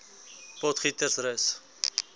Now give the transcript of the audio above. potgietersrus